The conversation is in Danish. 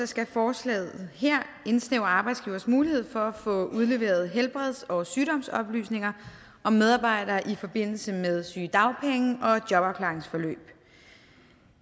skal forslaget her indsnævre arbejdsgivers mulighed for at få udleveret helbreds og sygdomsoplysninger om medarbejdere i forbindelse med sygedagpenge og jobafklaringsforløb